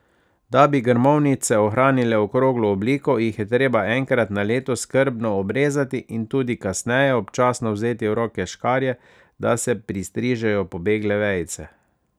Da bi grmovnice ohranile okroglo obliko, jih je treba enkrat na leto skrbno obrezati in tudi kasneje občasno vzeti v roke škarje, da se pristrižejo pobegle vejice.